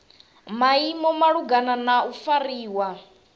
maimo malugana na u fariwa